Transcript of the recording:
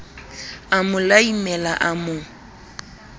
a mo laimela a mo